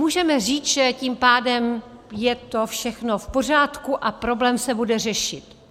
Můžeme říct, že tím pádem je to všechno v pořádku a problém se bude řešit.